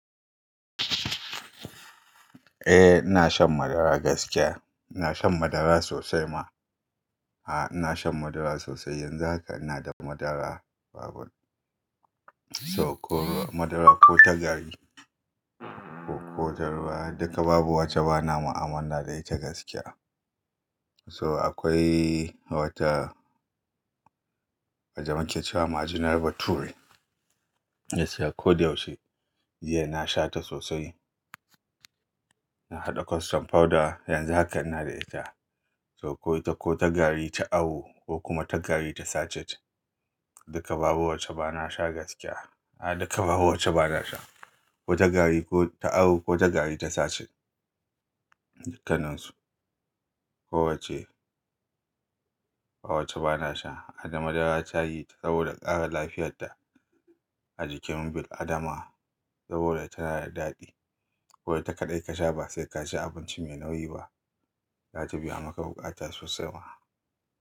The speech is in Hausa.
Eh ina shan madara gaskiya, ina shan madara sosai ma. A ina shan madara sosai, yanzu haka ina da madara babu to ko madara ko ta gari ko ta ruwa duka babu wacce bana ma'amala da ita gaskiya. To akwai wata, wacce muke cewa majinar bature ina siya kodayaushe, jiya na sha ta sosai. Ina haɗa custard powder yanzu hakan ina da ita. To ko ita ko ta gari ta awo ko kuma ta gari ta sachet duka babu wacce bana sha gaskiya. A'a duka babu wacce bana sha, ko ta gari ko ta awo ko ta gari ta sachet. Dukkanansu kowacce ba wacce bana sha. Madara tayi saboda ƙara lafiyarda ajikin bil adama saboda tana da daɗi. Ko ita kaɗai ka sha ba sai ka ci abinci mai nauyi ba, za ta biya maka buƙata sosai ma.